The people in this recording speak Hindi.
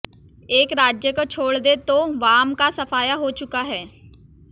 एक राज्य को छोड़ दें तो वाम का सफाया हो चुका है